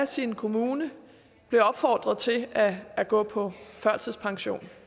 sin kommune blev opfordret til at at gå på førtidspension